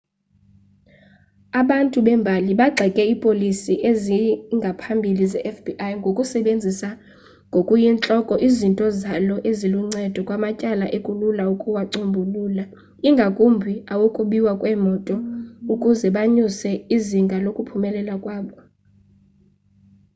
abantu bembali bagxeke iipolisi zangaphambili zefbi ngokusebenzisa ngokuyintloko izinto zalo eziluncedo kumatyala ekulula ukuwacombulula ingakumbi awokubiwa kweemoto ukuze banyuse izinga lokuphumelela kwabo